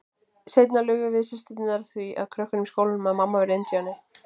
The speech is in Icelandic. Seinna lugum við systurnar því að krökkunum í skólanum að mamma væri indíáni.